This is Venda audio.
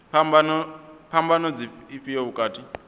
phambano ndi ifhio vhukati ha